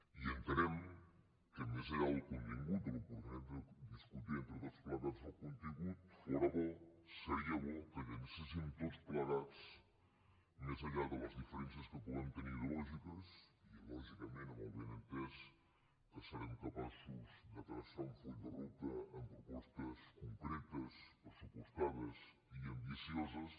i entenem que més enllà del contingut de l’oportunitat de discutir entre tots plegats el contingut fóra bo seria bo que llancéssim tots plegats més enllà de les diferències que puguem tenir ideològiques i lògicament amb el benentès que serem capaços de traçar un full de ruta amb propostes concretes pressupostades i ambicioses